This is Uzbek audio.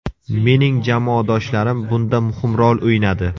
Mening jamoadoshlarim bunda muhim rol o‘ynadi.